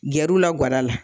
Gɛr'u la ga da la.